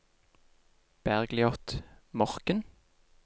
Bergliot Morken